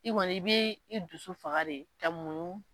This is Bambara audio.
I kɔni i bɛ i dusu faga de ka muɲu.